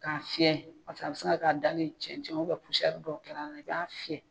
K'a fiyɛ paseke a bɛ se ka kɛ a dalen cɛncɛn dɔw kɛr'a la i b'a fiyɛ